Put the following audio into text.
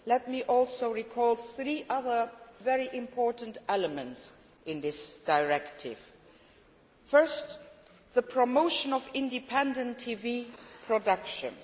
Let me also recall three other very important elements of this directive. Firstly, the promotion of independent TV productions.